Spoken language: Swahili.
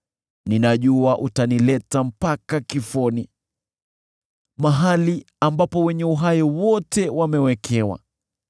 Ninajua utanileta mpaka kifoni, mahali ambapo wenye uhai wote wamewekewa.